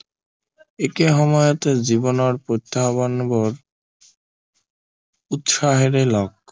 একে সময়তে জীৱনৰ উত্থাপনবোৰ উৎসাহেৰে লয়